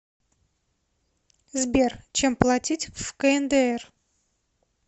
сбер чем платить в кндр